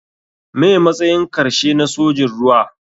Me matsayin karshe na sojin ruwa.